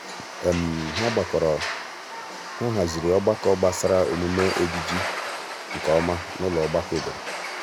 há hàzị̀rị̀ ọ́gbákọ́ gbasara ọ́mụ́mé ejiji nke ọma na ụ́lọ ọgbakọ obodo.